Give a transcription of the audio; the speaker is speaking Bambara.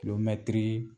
mɛtiri